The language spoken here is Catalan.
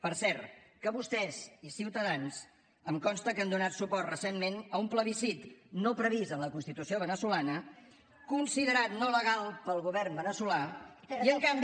per cert que vostès i ciutadans em consta que han donat suport recentment a un plebiscit no previst en la constitució veneçolana considerat no legal pel govern veneçolà i en canvi